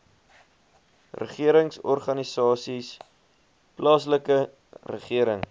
regeringsorganisasies plaaslike regering